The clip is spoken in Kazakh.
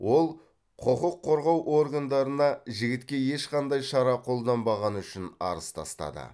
ол құқыққорғау органдарына жігітке ешқандай шара қолданбағаны үшін арыз тастады